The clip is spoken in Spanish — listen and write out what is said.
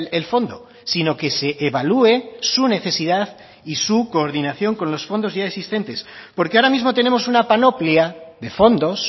el fondo sino que se evalúe su necesidad y su coordinación con los fondos ya existentes porque ahora mismo tenemos una panoplia de fondos